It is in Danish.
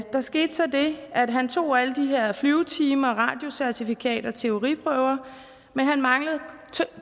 der skete så det at han tog alle de her flyvetimer et radiocertifikat og teoriprøver men han manglede